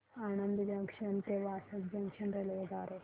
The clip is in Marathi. आणंद जंक्शन ते वासद जंक्शन रेल्वे द्वारे